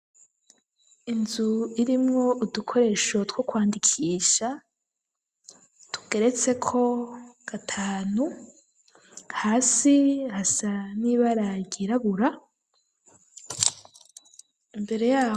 Inzu irimwo udukoresho two kwandikisha, tukeretse ko, gatanu ,hasi hasa nibara ryirabura, mbere yabo.